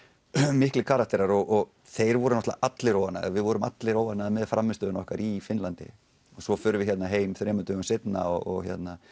miklir karakterar og þeir voru allir óánægðir við vorum allir óánægðir með frammistöðu okkar í Finnlandi og svo förum við hingað heim þremur dögum seinna og